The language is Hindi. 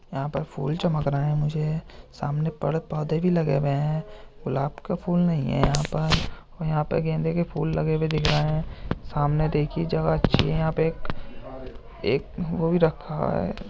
यहां पर फूल चमक रहे हैं मुझे सामने पड़ पौधे भी लगे हुए हैं। गुलाब के फूल नहीं है यहां पर और यहां पर गेंदे के फूल लगे हुए दिख रहे है। सामने देखिये जगह अच्छी है यहाँ पे एक एक वो भी रखा है।